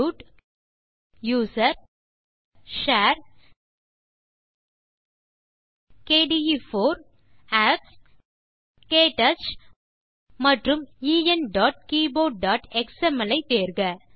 root usr share kde4 apps க்டச் மற்றும் englishktouchஎக்ஸ்எம்எல் ஐ தேர்க